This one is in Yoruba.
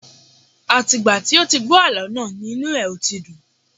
Àti ìgbà tí ó ti gbọ́ àlọ́ náà ni inu ẹ̀ ò ti dùn